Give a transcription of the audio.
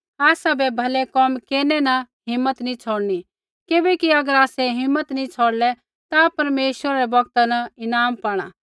आसाबै भलै कोम केरनै न हिम्मत नैंई छ़ौड़नी किबैकि अगर आसै हिम्मत नैंई छ़ौड़लै ता परमेश्वरा रै बौगता न ईनाम पाणा